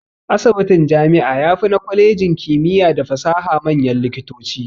Asibitin jami'a yafi na kwalejin kimiya da fasaha manyan likitoci.